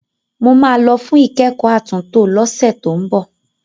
Mo máa lọ fún ìkẹ́kọ̀ọ́ àtúntò lọ́sẹ̀ tó ń bọ̀.